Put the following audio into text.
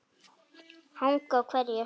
Hanga á hverju?